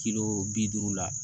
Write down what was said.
Kilo bi duuru la